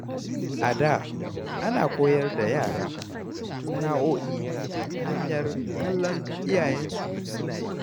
A da, ana koyar da yara sana’o’i ta hanyar kallon iyayensu suna yi.